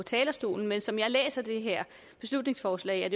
talerstolen men som jeg læser det her beslutningsforslag er